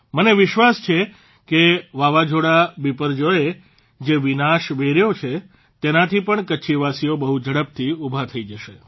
મને વિશ્વાસ છે કે વાવાઝોડા બિપરજોયે જે વિનાશ વેર્યો છે તેનાથી પણ કચ્છવાસીઓ બહુ ઝડપથી ઉભા થઇ જશે